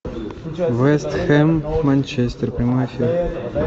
вест хэм манчестер прямой эфир